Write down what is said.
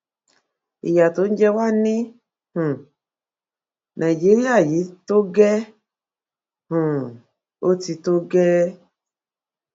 ìyà tó ń jẹ wà ní um nàìjíríà yìí tó gẹ́ẹ́ um ó ti tó gẹ́ẹ́